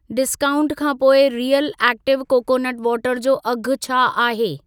Discount खां पोइ real active coconut water जो अघि छा आहे?